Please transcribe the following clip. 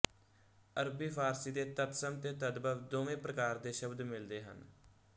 ਅਰਬੀ ਫ਼ਾਰਸੀ ਦੇ ਤਤਸਮ ਦੇ ਤਦਭਵ ਦੋਵੇਂ ਪ੍ਰਕਾਰ ਦੇ ਸ਼ਬਦ ਮਿਲਦੇ ਹਨ